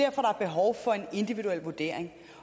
individuel vurdering